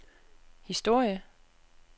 historie